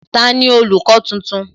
Tani olùkọ́ tuntun?